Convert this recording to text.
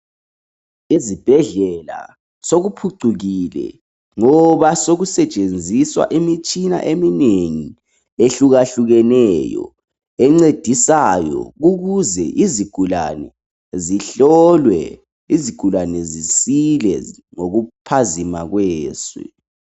Ezibhedlela sokuphucukile ngoba sokusetshenziswa imitshina eminengi ehlukahlukeneyo encedisayo ukuze izigulane zihlolwe njalo zisile ngokuphazima kweso.